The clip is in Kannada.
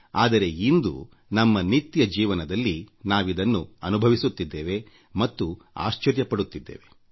ಆದರೆ ಇಂದು ನಮ್ಮ ನಿತ್ಯ ಜೀವನದಲ್ಲಿ ನಾವಿದನ್ನು ಅನುಭವಿಸುತ್ತಿದ್ದೇವೆ ಮತ್ತು ಆಶ್ಚರ್ಯಪಡುತ್ತಿದ್ದೇವೆ